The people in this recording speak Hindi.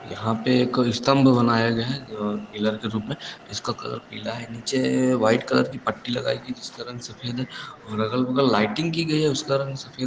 यहाॅं पे एक स्तम्भ बनाया गया है पिलर के रूप में। जिसका कलर पीला है। नीचे व्हाइट कलर की पट्टी लागई गई। जिसका रंग सफ़ेद हैं औरअगल- बगल लाइटिंग की गयी हैं। उसका रंग सफ़ेद --